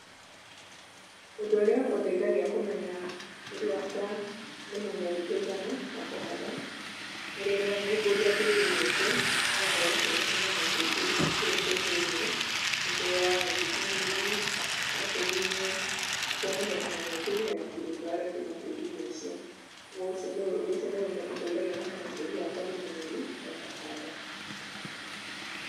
Ũndũ ũrĩa ũndeithagia kũmenya tĩri wakwa nĩ mũnoru kũigana wa kũhanda, nĩ rĩrĩa ngumbũria tĩri-inĩ ũcio, na ngona kwĩna tũnyamũ tũingĩ tũrĩ kũu thĩini, mũthũa, thigiriri ona tũgunyũ, nĩ kuonania tũnyamũ tũu hena kĩndũ tũrarĩa kuuma tĩri-inĩ ũcio. Ũcio nĩũ ũndũ ũcio nĩũndeithagia kũmenya tĩri wakwa nĩ mũnoru wa kũhanda.